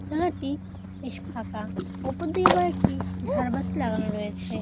জাগাটি বেশ ফাঁকা ওপর দিকে কয়েকটি ঝাড়বাতি লাগানো রয়েছে।